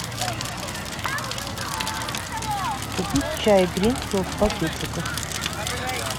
купить чай гринфилд в пакетиках